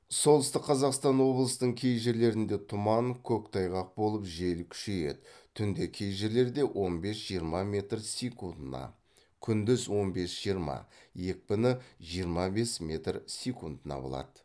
солтүстік қазақстан облыстың кей жерлерінде тұман қөқтайғақ болып жел күшейеді түнде кей жерлерде он бес жиырма метр секундына күндіз он бес жиырма екпіні жиырма бес метр секундына болады